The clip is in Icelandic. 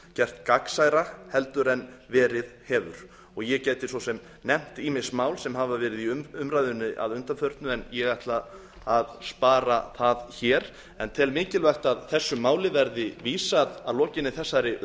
gert gagnsærra en verið hefur ég gæti svo sem nefnt ýmis mál sem hafa verið í umræðunni að undanförnu en ég ætla að spara það hér en tel mikilvægt að þessu máli verði vísað að lokinni þessari